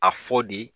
A fɔ de